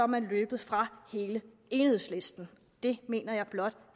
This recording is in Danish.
man løbet fra hele enighedslisten det mener jeg blot